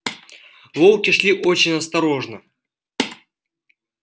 волки шли очень осторожно